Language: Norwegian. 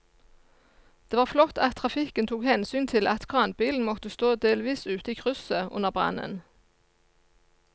Det var flott at trafikken tok hensyn til at kranbilen måtte stå delvis ute i krysset under brannen.